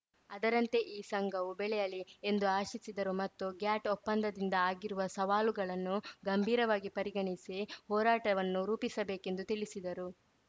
ಅದರಂತೆ ಈ ಸಂಘವು ಬೆಳೆಯಲಿ ಎಂದು ಆಶಿಸಿದರು ಮತ್ತು ಗ್ಯಾಟ್‌ ಒಪ್ಪಂದಿಂದ ಆಗಿರುವ ಸವಾಲುಗಳನ್ನು ಗಂಭೀರವಾಗಿ ಪರಿಗಣಿಸಿ ಹೋರಾಟವನ್ನು ರೂಪಿಸಬೇಕೆಂದು ತಿಳಿಸಿದರು